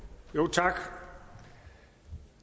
tak